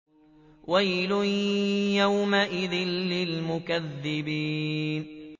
وَيْلٌ يَوْمَئِذٍ لِّلْمُكَذِّبِينَ